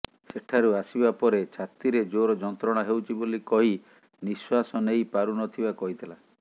ସେଠାରୁ ଆସିବା ପରେ ଛାତିରେ ଜୋର ଯନ୍ତ୍ରଣା ହେଉଛି ବୋଲି କହି ନିଶ୍ୱାସ ନେଇ ପାରୁନଥିବା କହିଥିଲା